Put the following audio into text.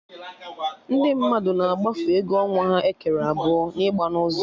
Ndị mmadụ na-agbafu ego ọnwa ha ekere abụọ na ịgba n'ụzọ